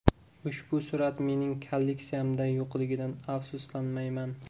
Ushbu surat mening kolleksiyamda yo‘qligidan afsuslanmayman.